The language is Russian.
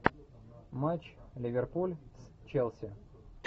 матч ливерпуль с челси